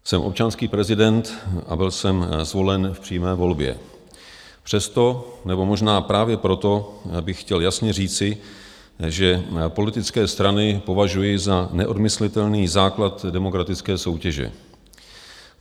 Jsem občanský prezident a byl jsem zvolen v přímé volbě, přesto - nebo možná právě proto - bych chtěl jasně říci, že politické strany považuji za neodmyslitelný základ demokratické soutěže.